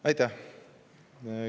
Aitäh!